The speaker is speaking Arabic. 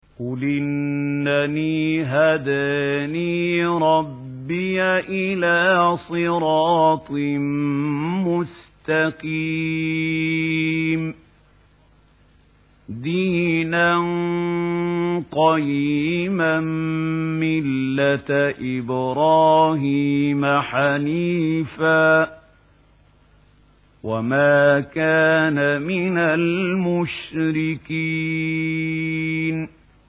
قُلْ إِنَّنِي هَدَانِي رَبِّي إِلَىٰ صِرَاطٍ مُّسْتَقِيمٍ دِينًا قِيَمًا مِّلَّةَ إِبْرَاهِيمَ حَنِيفًا ۚ وَمَا كَانَ مِنَ الْمُشْرِكِينَ